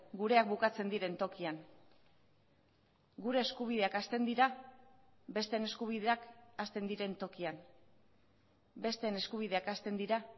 gureak bukatzen diren tokian gure eskubideak hasten dira besteen eskubideak hasten diren tokian besteen eskubideak hasten dira